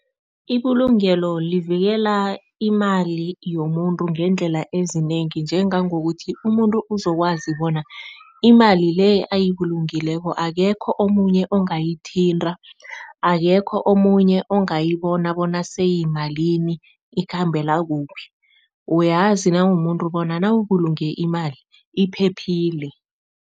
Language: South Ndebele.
Ibulungelo livikela imali yomuntu ngeendlela ezinengi. Njengangokuthi umuntu uzokwazi bona imali le ayibulungileko akekho omunye ongayithinta, akekho omunye ongayibona bona seyimalini, ikhambela kuphi, uyazi nawumuntu bona nawubulunge imali iphephile.